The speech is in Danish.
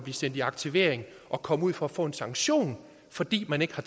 sendt i aktivering og komme ud for at få en sanktion fordi man ikke har